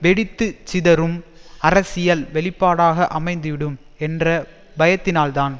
வெடித்து சிதறும் அரசியல் வெளிப்பாடாக அமைந்துவிடும் என்ற பயத்தினால்தான்